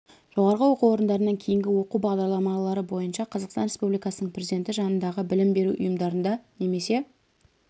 жоғары оқу орындарынан кейінгі оқу бағдарламалары бойынша қазақстан республикасының президенті жанындағы білім беру ұйымдарында немесе